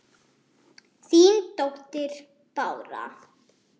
Þín dóttir, Bára.